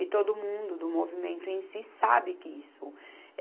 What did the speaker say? E todo mundo do movimento em si sabe que isso.